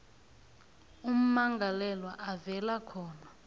ummangalelwa avela khona